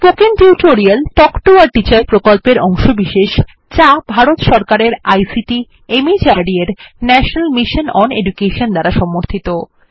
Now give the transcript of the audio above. spoken tutorial talk to a teacher প্রকল্পের অংশবিশেষ যা ভারত সরকারের আইসিটি মাহর্দ এর ন্যাশনাল মিশন ওন এডুকেশন দ্বারা সমর্থিত